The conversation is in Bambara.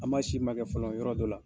An ma sirimakɛ fɔlɔ yɔrɔ dɔ la.